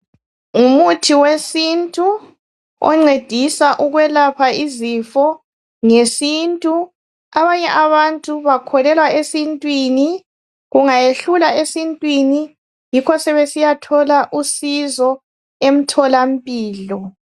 Ngumuthi wesintu oncedisa ukwelapha izifo ngesintu abanye abantu bakholelwa esintwini kungayehlula esintwini yikho sebesiyathola usizo emtholampilo.